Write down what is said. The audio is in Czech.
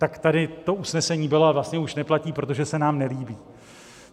Tak tady to usnesení bylo a vlastně už neplatí, protože se nám nelíbí.